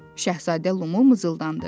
Şahzadə Lumu mızıldandı.